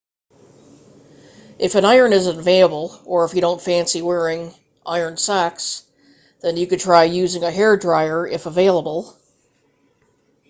if an iron isn't available or if you don't fancy wearing ironed socks then you can try using a hairdryer if available